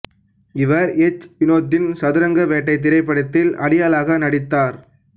இவர் எச் வினோத்தின் சதுரங்க வேட்டை திரைப்படத்தில் அடியாளாக நடித்தார்